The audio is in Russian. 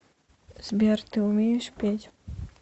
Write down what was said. сбер ты умеешь петь